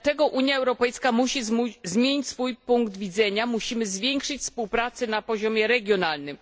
Dlatego Unia Europejska musi zmienić swój punkt widzenia, musimy zwiększyć współpracę na poziomie regionalnym.